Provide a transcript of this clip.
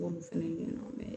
fɛnɛ ɲɛna